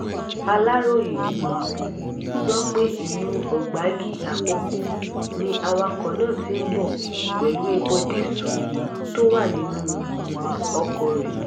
aláròye um gbọ́ pé ìlú ọ̀gbági àkọ́kọ́ ni awakọ̀ náà ti ń bọ̀ pẹ̀lú epo dììṣù tó wà nínú oko um rẹ̀